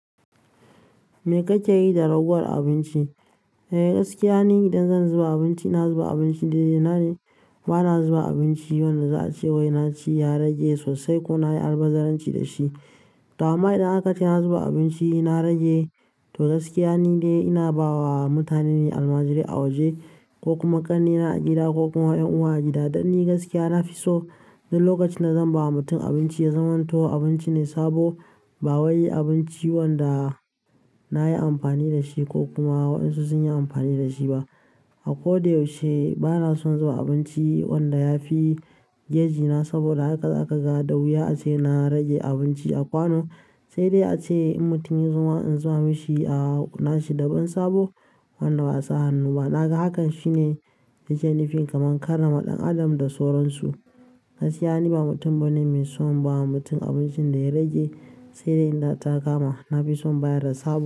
Me kake yi da ragowar abinci? Eh gaskiya ni idan zan zuba abinci, ina zuba abinci daidainan, bana zuba abinci wanda za a ce wai na ci ya rage sosai ko na yi albazaranci da shi. To amma idan aka ce na zuba abinci na rage, to gaskiya nidai ina ba wa mutane ne almajirai a waje ko kuma ƙannena a gida ko kuma ƴan uwa a gida. Don ni gaskiya na fi so duk lokacin da zan ba wa mutum abinci ya zamanto abinci ne sabo ba wai abinci wanda na yi amfani da shi ko kuma wayansu sun yi amfani da shi ba. A ko da yaushe bana son zuba abinci wanda ya fi geji na saboda haka za ka ga da wuya a ce na rage abinci a kwano. Sai dai ace in mutum ya zama in zuba mashi a nashi daban sabo wanda ba a sa hannu ba. Na ga hakan shine yake nufin kamar karrama ɗan adam da soron su. Gaskiya ni ba mutum bane mai son ba wa mutum abincin da ya rage. Sai dai in ta kama na fi son bayar da sabo.